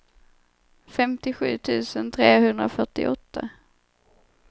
femtiosju tusen trehundrafyrtioåtta